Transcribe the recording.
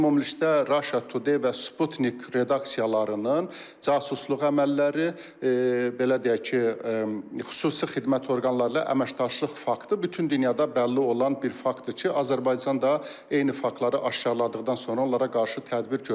Ümumilikdə Russia Today və Sputnik redaksiyalarının casusluq əməlləri, belə deyək ki, xüsusi xidmət orqanları ilə əməkdaşlıq faktı bütün dünyada bəlli olan bir faktdır ki, Azərbaycan da eyni faktları aşkarladıqdan sonra onlara qarşı tədbir görübdür.